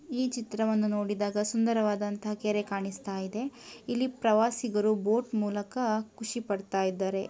ಈ ಚಿತ್ರವನ್ನು ನೋಡಿದಾಗ ಸುಂದರವಾದಂತಹ ಕೆರೆ ಕಾಣಿಸುತ್ತ ಇದೆ ಇಲ್ಲಿ ಪ್ರವಾಸಿಗರು ಬೋಟ್ ಮೂಲಕ ಖುಷಿಪಡುತ್ತಿದ್ದಾರೆ